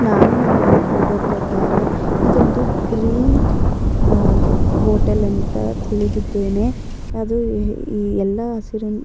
ನಾನು ನೋಡಿದ ಫೋಟೋ ಪ್ರಕಾರ ಇದೊಂದು ಗ್ರೀನ್ ಹೋಟೆಲ್ ಅಂತ ತಿಳಿದಿದ್ದೇನೆ ಅದು ಎಲ್ಲ ಹಸಿರು --